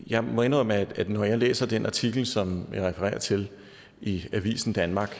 jeg må indrømme at når jeg læser den artikel som jeg refererer til i avisen danmark